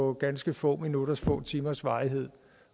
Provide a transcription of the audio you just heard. af ganske få minutters eller få timers varighed